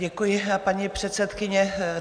Děkuji, paní předsedkyně.